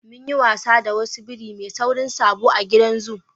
Mu yi wasa da wasu biri ma sauri sabo a gidan zoo.